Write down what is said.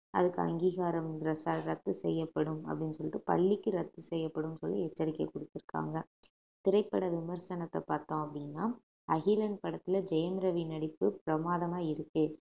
அதுக்கு அங்கீகாரம் ரத்~ ரத்து செய்யப்படும் அப்படின்னு சொல்லிட்டு பள்ளிக்கு ரத்து செய்யப்படும்ன்னு சொல்லி எச்சரிக்கை கொடுத்திருக்காங்க திரைப்பட விமர்சனத்தை பார்த்தோம் அப்படின்னா அகிலன் படத்துல ஜெயம் ரவி நடிப்பு பிரமாதமா இருக்கு